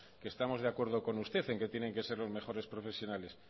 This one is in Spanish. que estamos de acuerdo con usted en que tienen que ser los mejores profesionales